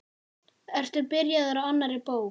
Ertu byrjaður á annarri bók?